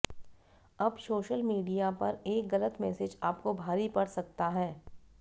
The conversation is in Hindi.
अब सोशल मीडिया पर एक गलत मैसेज आपको भारी पड़ सकता है